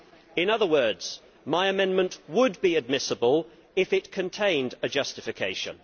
in other words, my amendment would be admissible if it contained a justification.